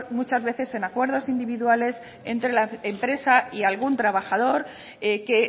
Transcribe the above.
muchas veces en acuerdos individuales entre la empresa y algún trabajador que